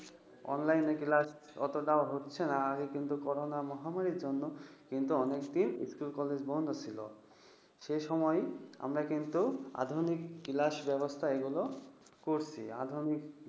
online class অতটাও হচ্ছে না, আগে কিন্তু corona মহামারীর জন্য অনেকদিন school college বন্ধ ছিল। সেইসময় কিন্তু আমরা আধুনিক class ব্যবস্থা এগুলো করছি।